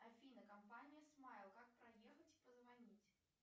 афина компания смайл как проехать и позвонить